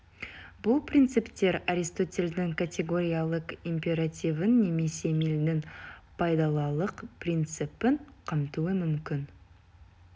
бұл принциптер аристотельдің категориялық императивін немесе милльдің пайдалылық принципін қамтуы мүмкін